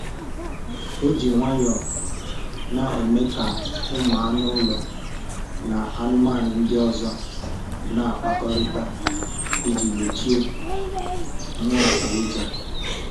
O ji nwayọọ na-eme ka ụmụ anụ ụlọ na anụmanụ ndị ọzọ na-akpakọrita iji gbochie mwakpo ụjọ